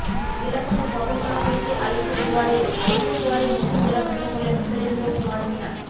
জেলাশাসক বদল করা হয়েছে আলিপুরদুয়ারেরও আলিপুরদুয়ারের নতুন জেলাশাসক হলেন সুরেন্দ্র কুমার মীনা